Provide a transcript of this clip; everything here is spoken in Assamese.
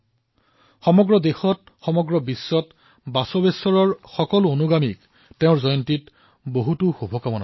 দেশ আৰু বিশ্বৰ ভগৱান বশৱেশ্বৰৰ সকলো অনুগামীক তেওঁৰ জয়ন্তীত শুভেচ্ছা জনাইছো